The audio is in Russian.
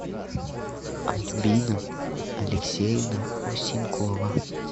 альбина алексеевна осенкова